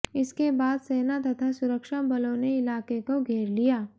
इसके बाद सेना तथा सुरक्षा बलों ने इलाके को घेर लिया